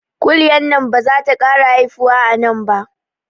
Kuliyan nan bazata kara haifuwa anan ba